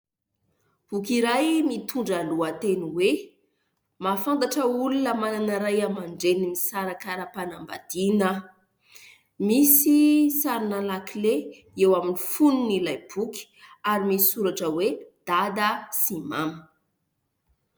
Boky iray mitondra lohateny hoe " Mahafantatra olona manana ray aman-dreny misaraka ara-panambadiana aho". Misy sarina lakile eo amin'ny fonon'ilay boky ary misy soratra hoe " Dada sy Mama".